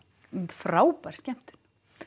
frábær skemmtun